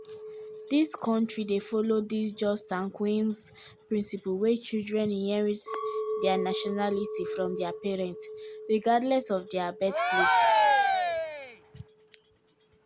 these kontri dey follow di jus sanguinis (right of blood) principle wia children inherit dia nationality from dia parents regardless of dia birthplace.